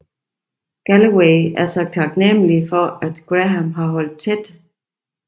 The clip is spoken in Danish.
Galloway er så taknemmelig for at Graham har holdt tæt